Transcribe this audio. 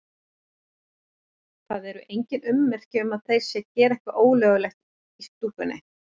Það eru engin ummerki um að þeir séu að gera eitthvað ólöglegt í stúkunni.